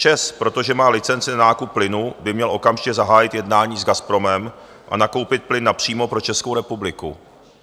ČEZ, protože má licenci na nákup plynu, by měl okamžitě zahájit jednání s Gazpromem a nakoupit plyn napřímo pro Českou republiku.